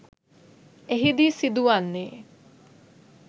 එහිදී සිදුවන්නේ